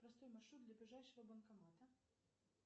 простой маршрут до ближайшего банкомата